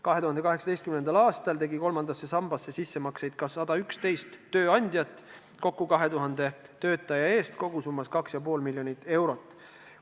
2018. aastal tegi kolmandasse sambasse sissemakseid ka 111 tööandjat kokku 2000 töötaja eest, maksete kogusumma oli 2,5 miljonit eurot.